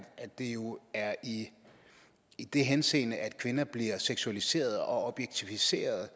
det jo er i i den henseende at kvinder bliver seksualiseret og objektiviseret og